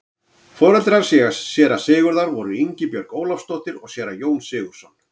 foreldrar séra sigurðar voru ingibjörg ólafsdóttir og séra jón sigurðsson